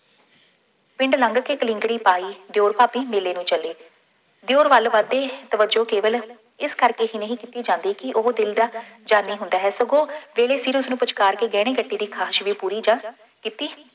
ਪਿੰਡ ਲੰਘ ਕੇ ਕਲਿੰਕੜੀ ਪਾਈ, ਦਿਉਰ ਭਾਬੀ ਮੇਲੇ ਨੂੰ ਚੱਲੇ, ਦਿਉਰ ਵੱਲ ਵੱਧਦੇ ਤਵੱਜੋਂ ਕੇਵਲ ਇਸ ਕਰਕੇ ਹੀ ਨਹੀਂ ਕੀਤੀ ਜਾਂਦੀ ਕਿ ਉਹ ਦਿਲ ਦਾ ਜਾਨੀ ਹੁੰਦਾ ਹੈ, ਸਗੋਂ ਵੇਲੇ ਸਿਰ ਉਸਨੂੰ ਪੁਚਕਾਰਕੇ ਗਹਿਣੇ ਗੱਟੇ ਦੀ ਖਾਹਿਸ਼ ਵੀ ਪੂਰੀ ਜਾਂ ਕੀਤੀ